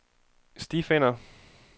stifinder